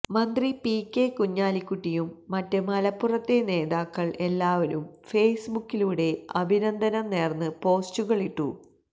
മന്ത്രി P K കുഞ്ഞാലിക്കുട്ടിയും മറ്റ് മലപ്പുറത്തെ നേതാക്കൾ എല്ലാവരും ഫേസ്ബുക്കിലൂടെ അഭിനന്ദനം നേർന്ന് പോസ്റ്റുകൾ ഇട്ടു